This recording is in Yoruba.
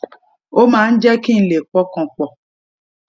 ó máa jé kí n lè pọkàn pò